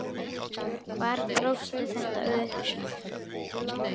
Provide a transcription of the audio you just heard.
Hvar grófstu þetta upp?